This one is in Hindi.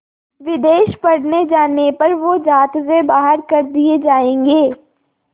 विदेश पढ़ने जाने पर वो ज़ात से बाहर कर दिए जाएंगे